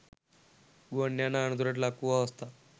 ගුවන් යානා අනතුරට ලක්වූ අවස්ථා